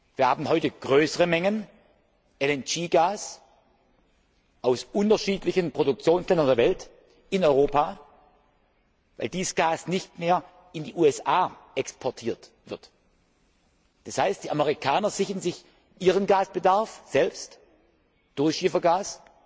Wir haben heute größere Mengen LNG Gas aus unterschiedlichen Produktionsländern der Welt in Europa, weil dieses Gas nicht mehr in die USA exportiert wird. Das heißt, die Amerikaner sichern sich ihren Gasbedarf selbst durch Schiefergas,